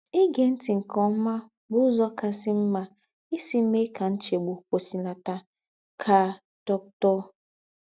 “ Ígé ńtì nke ómà bù úzọ̀ kàsì m̀mà ísì méè kà ńchègbù kwùsìlàtà, ” kà Dr.